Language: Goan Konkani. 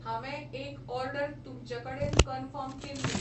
हांवें एक ऑर्डर तुमचे कडेन कनफर्म केल्ली.